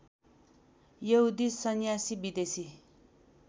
यहुदी सन्यासी विदेशी